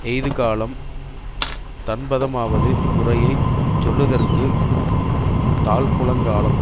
எய்துகாலம் தண்பதமாவது குறையை சொல்லுதற்குத் தாழ்க்குளங்காலம்